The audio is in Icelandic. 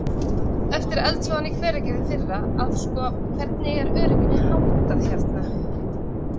Eftir eldsvoðann í Hveragerði í fyrra að sko, hvernig er örygginu háttað hérna?